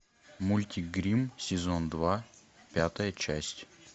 мультик гримм сезон два пятая часть